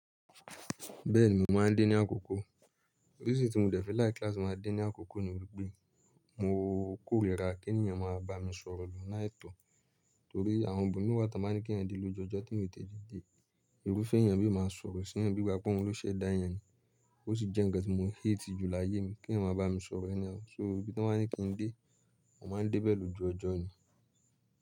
Bẹ́ẹ̀ni mo máa ń dé ní àkókò. Reason tí mo dẹ̀ fi líke látì má a dé ní àkókò ni wípé mo kórìíra kí ènìyàn máa bá mi sọ̀rọ̀ lọ́nà aitọ̀ torí àwọn ibi mii wà tàn ba ni kí èeyàn de loju ọjọ tí èeyàn ò tete de. Irúfẹ́ ènìyàn mí máa sọ̀rọ̀ sí eeyan bí igbá pé ọun ló ṣẹ̀ dá eyan ni. Ó sì jẹ́ ǹkan tí mo hate jù láyé mi kí eeyan máa bá mi sọ̀rọ̀ anyhow, So ibi tí wọ́n bá ní kí n dé, mo máa ń dé bẹ̀ lo ju ọjọ́ ni.